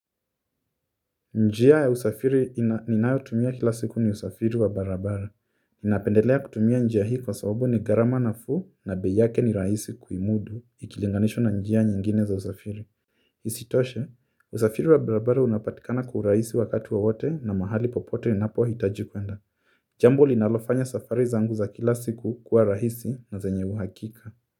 Njia ya usafiri ninayo tumia kila siku ni usafiri wa barabara. Napendelea kutumia njia hii kwa sababu ni gharama nafuu na bei yake ni rahisi kuimudu ikilinganishwa na njia nyingine za usafiri. Isitoshe, usafiri wa barabara unapatikana kwa urahisi wakati wowote na mahali popote inapo hitaji kwenda. Jambo linalofanya safari zangu za kila siku kuwa rahisi na zenye uhakika.